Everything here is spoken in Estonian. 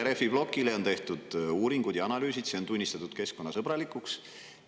Rehviploki kohta on tehtud uuringud ja analüüsid ning see on tunnistatud keskkonnasõbralikuks.